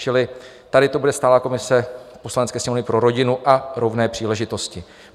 Čili tady to bude stálá komise Poslanecké sněmovny pro rodinu a rovné příležitosti.